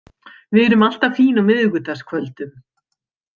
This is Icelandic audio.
Við erum alltaf fín á miðvikudagskvöldum.